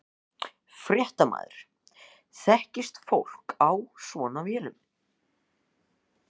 Fréttamaður: Þekkist fólk á svona vélum?